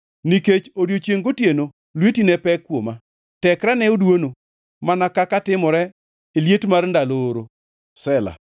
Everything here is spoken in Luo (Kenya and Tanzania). Nikech odiechiengʼ gotieno lweti ne pek kuoma; tekrena ne oduono mana kaka timore e liet mar ndalo oro. Sela